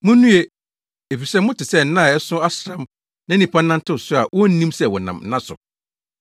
“Munnue! Efisɛ mote sɛ nna a ɛso asram na nnipa nantew so a wonnim sɛ wɔnam nna so.”